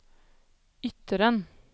Ytteren